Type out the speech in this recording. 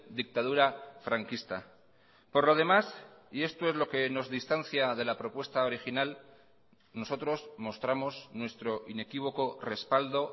dictadura franquista por lo demás y esto es lo que nos distancia de la propuesta original nosotros mostramos nuestro inequívoco respaldo